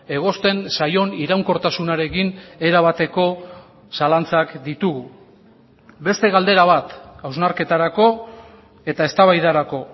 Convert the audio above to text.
egozten zaion iraunkortasunarekin erabateko zalantzak ditugu beste galdera bat hausnarketarako eta eztabaidarako